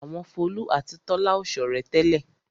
Àwọn Folú àti Tọ́lá ò ṣọ̀rẹ́ tẹ́lẹ̀.